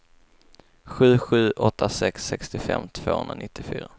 sju sju åtta sex sextiofem tvåhundranittiofyra